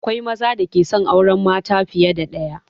Akwai maza da ke son auren mata fiye da ɗaya